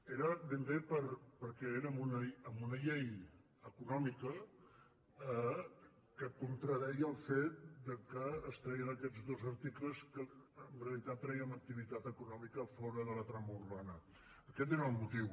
era ben bé perquè érem en una llei econòmica que contradeia el fet que es treien aquests dos articles que en realitat trèiem ac·tivitat econòmica fora de la trama urbana aquest era el motiu